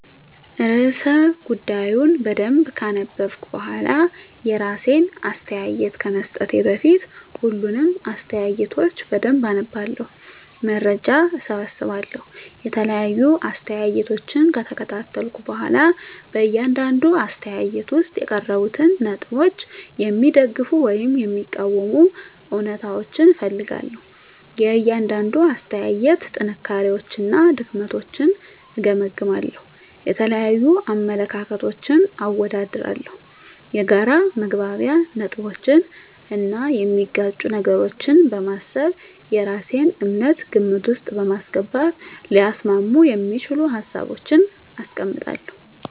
*ርዕሰ ጉዳዩን በደንብ ካነበብኩ በኋላ፤ *የራሴን አስተያየት ከመስጠቴ በፊት፦ ፣ሁሉንም አስተያየቶች በደንብ አነባለሁ፣ መረጃ እሰበስባለሁ የተለያዩ አስተያየቶችን ከተከታተልኩ በኋላ በእያንዳንዱ አስተያየት ውስጥ የቀረቡትን ነጥቦች የሚደግፉ ወይም የሚቃወሙ እውነታዎችን እፈልጋለሁ፤ * የእያንዳንዱን አስተያየት ጥንካሬዎችና ድክመቶችን እገመግማለሁ። * የተለያዩ አመለካከቶችን አወዳድራለሁ። የጋራ መግባቢያ ነጥቦችን እና የሚጋጩ ነገሮችን በማሰብ የራሴን እምነት ግምት ውስጥ በማስገባት ሊያስማሙ የሚችሉ ሀሳቦችን አስቀምጣለሁ።